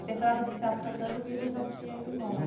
A temporada do Teatro Santana, o Milo já tinha ido embora.